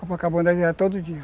todo dia.